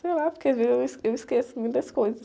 Sei lá, porque às vezes eu es, eu esqueço muitas coisas.